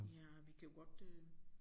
Ja vi kan jo godt øh